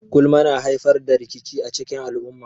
Gulma kan haifar da rikici a cikin al'umma.